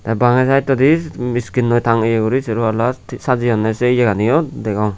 tey bangey saettodi miskinnoi tangeye guri sero pall sajeyonney sei yeganiyo degong.